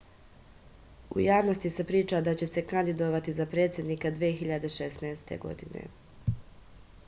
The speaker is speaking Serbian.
u javnosti se priča da će se kandidovati za predsednika 2016